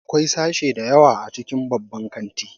Akwai sashe da yawa a cikin babban kanti